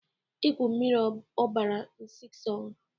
Igwu mịrị ọbara Nsisong